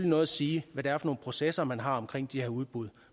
noget at sige hvad det er for nogle processer man har omkring de her udbud